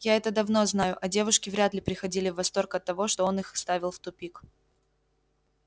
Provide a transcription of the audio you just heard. я это давно знаю а девушки вряд ли приходили в восторг от того что он их ставил в тупик